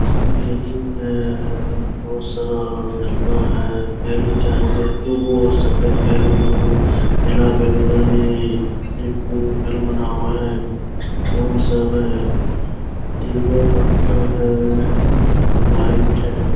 Balloon है बहुत सारा झरना है बेलून चार व्यक्ति को सफेद बेलून दो गो बना हुआ है फोन सब है तीन गो पंखा है लाइट है।